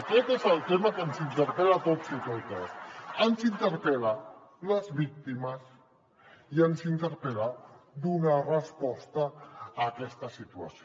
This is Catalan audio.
aquest és el tema que ens interpel·la a tots i totes ens interpel·len les víctimes i ens interpel·la donar resposta a aquesta situació